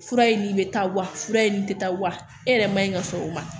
Fura ye nin bɛ taa wa fura ye nin tɛ taa wa e yɛrɛ man ɲi ka sɔrɔ o ma